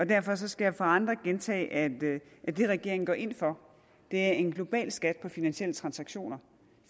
derfor skal jeg for andre gentage at det at det regeringen går ind for er en global skat på finansielle transaktioner